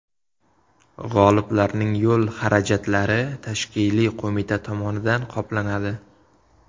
G‘oliblarning yo‘l xarajatlari tashkiliy qo‘mita tomonidan qoplanadi.